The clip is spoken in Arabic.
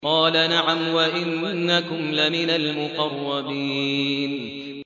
قَالَ نَعَمْ وَإِنَّكُمْ لَمِنَ الْمُقَرَّبِينَ